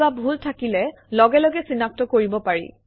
কিবা ভুল থাকিলে লগে লগে চিনাক্ত কৰিব পাৰি